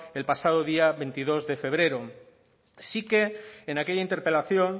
el pasado día veintidós de febrero sí que en aquella interpelación